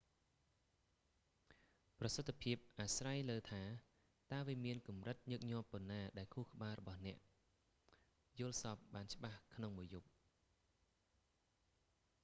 ប្រសិទ្ធភាពអាស្រ័យលើថាតើវាមានកម្រិតញឹកញាប់ប៉ុណ្ណា ដែលខួរក្បាលរបស់អ្នកយល់សប្តិបានច្បាស់ក្នុងមួយយប់